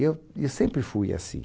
E eu, e sempre fui assim.